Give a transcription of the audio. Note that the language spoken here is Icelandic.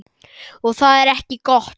Og það er ekki gott.